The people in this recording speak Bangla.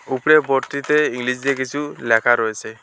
উপরের বোর্ড -টিতে ইংলিশ দিয়ে কিসু ল্যাখা রয়েসে।